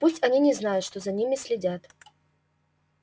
пусть они не знают что за ними следят